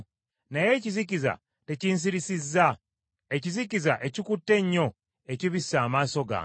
Naye ekizikiza tekinsirisizza, ekizikiza ekikutte ennyo ekibisse amaaso gange.”